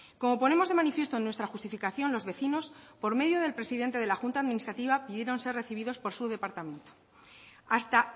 como ponemos de manifiesto en nuestra justificación los vecinos por medio del presidente de la junta administrativa pidieron ser recibidos por su departamento hasta